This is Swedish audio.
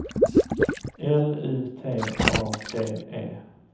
L U T A D E